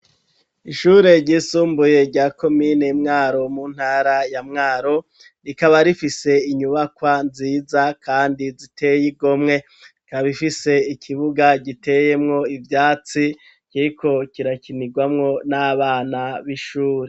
Ishure ryisumbuye rya komine Mwaro mu ntara ya Mwaro rikaba rifise inyubakwa nziza kandi ziteye igomwe ikaba ifise ikibuga giteyemwo ivyatsi kiriko kirakinirwamwo n'abana b'ishuri